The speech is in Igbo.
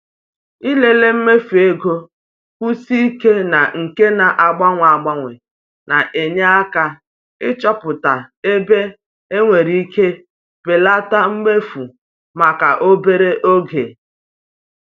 Ịlele mmefu ego kwụsie ike na nke na-agbanwe agbanwe na-enye aka ịchọpụta ebe ị nwere ike belata mmefu maka obere oge.